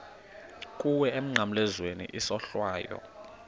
kuwe emnqamlezweni isohlwayo